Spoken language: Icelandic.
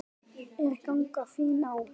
Er ganga þín á enda?